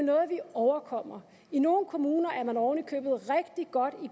overkommer i nogle kommuner er man ovenikøbet og